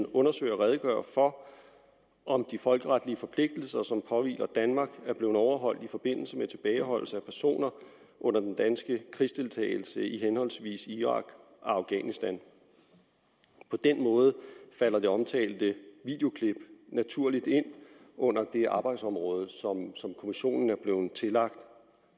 undersøge og redegøre for om de folkeretlige forpligtelser som påhviler danmark er blevet overholdt i forbindelse med tilbageholdelse af personer under den danske krigsdeltagelse i henholdsvis irak og afghanistan på den måde falder det omtalte videoklip naturligt ind under det arbejdsområde som kommissionen er blevet tillagt